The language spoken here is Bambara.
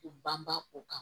U banba u kan